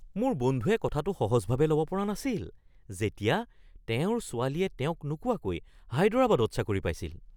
মোৰ বন্ধুয়ে কথাটো সহজভাৱে ল'ব পৰা নাছিল যেতিয়া তেওঁৰ ছোৱালীয়ে তেওঁক নোকোৱাকৈ হায়দৰাবাদত চাকৰি পাইছিল।